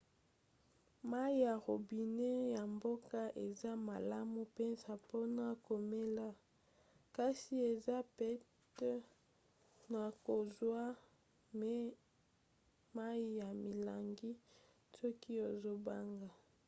mai ya robinet ya mboka eza malamu mpenza mpona komela kasi eza pete na kozwa mai ya milangi soki ozobanga